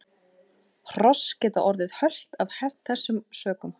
Hross geta orðið hölt af þessum sökum.